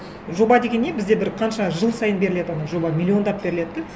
жоба деген не бізде бір қанша жыл сайын беріледі ана жоба миллиондап беріледі де